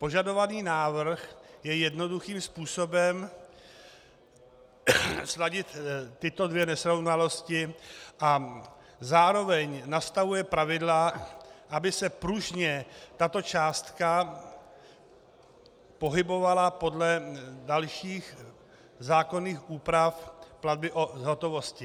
Požadovaný návrh je jednoduchým způsobem sladit tyto dvě nesrovnalosti a zároveň nastavuje pravidla, aby se pružně tato částka pohybovala podle dalších zákonných úpravy platby v hotovosti.